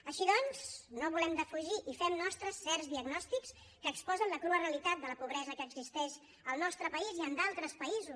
així doncs no volem defugir i fem nostres certs diagnòstics que exposen la crua realitat de la pobresa que existeix al nostre país i en d’altres països